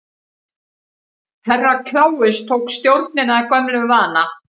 Herra Kláus tók stjórnina að gömlum vana.